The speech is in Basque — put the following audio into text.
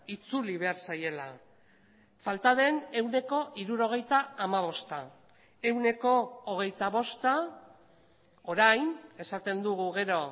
itzuli behar zaiela falta den ehuneko hirurogeita hamabosta ehuneko hogeita bosta orain esaten dugu gero